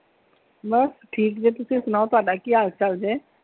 ਬਸ ਠੀਕ ਜੇ ਤੁਸੀਂ ਸੁਣਾਓ ਤੁਹਾਡਾ ਕੀ ਹਾਲ ਚਾਲ ਜੇ?